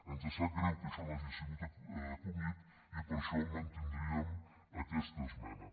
ens sap greu que això no hagi sigut acollit i per això mantindríem aquesta esmena